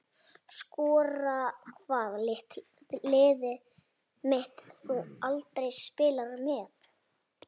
Skora Hvaða liði myndir þú aldrei spila með?